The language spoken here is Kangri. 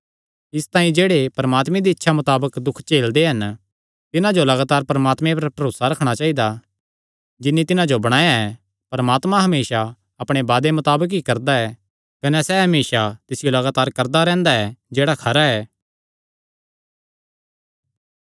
इसतांई जेह्ड़े परमात्मे दी इच्छा मताबक दुख झेलदे हन तिन्हां जो लगातार परमात्मे पर भरोसा रखणा चाइदा जिन्नी तिन्हां जो बणाया ऐ परमात्मा हमेसा अपणे वादे मताबक ई करदा ऐ कने सैह़ हमेसा तिसियो लगातार करदा रैंह्दा ऐ जेह्ड़ा खरा ऐ